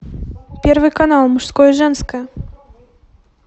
первый канал мужское женское